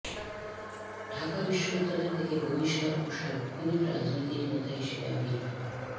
ঢাকা বিশ্ববিদ্যালয় থেকে বহিষ্কার ও সার্বক্ষণিক রাজনৈতিক নেতা হিসেবে আবির্ভাব